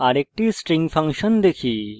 আরেকটি string function দেখি